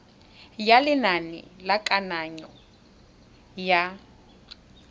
ya lenane la kananyo ya